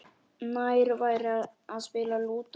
Nær væri að spila Lúdó.